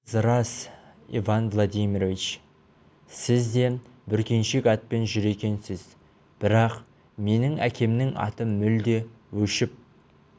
оныңыз рас иван владимирович сіз де бүркеншек атпен жүр екенсіз бірақ менің әкемнің аты мүлде өшіп